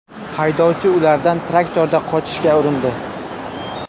Haydovchi ulardan traktorda qochishga urindi.